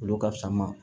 Olu ka fisa ma